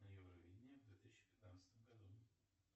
на евровидение в две тысячи пятнадцатом году